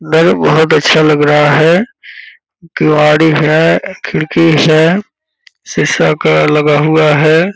नल बहुत अच्छा लग रहा है। किवाड़ी है खिड़की है शीशा का लगा हुआ है।